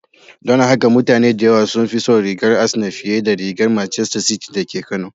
Don haka mutane da yawa sun fi son rigar Asenaa fiye da rigar Macester City da ke Kano